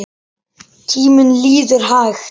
Tíminn líður hægt.